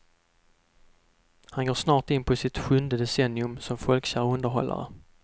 Han går snart in på sitt sjunde decennium som folkkär underhållare.